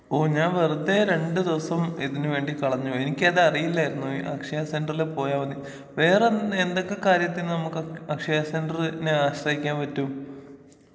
ഓ ഞാൻ വെറുതെ രണ്ട് ദിവസം ഇതിനുവേണ്ടി കളഞ്ഞു എനിക്കത് അറിയില്ലായിരുന്നു ഈ അക്ഷയ സെന്ററിൽ പോയാൽ മതി വേറെ എന്ത് എന്തൊക്കെ കാര്യത്തിന് നമുക്ക് അക്ഷയ സെന്ററിനെ ആശ്രയിക്കാൻ പറ്റും.